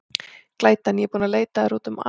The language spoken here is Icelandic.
Glætan, ég er búin að leita að þér út um allt.